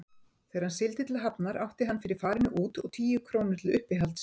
Þegar hann sigldi til Hafnar átti hann fyrir farinu út og tíu krónur til uppihalds.